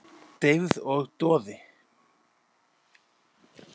Deyfð og doði.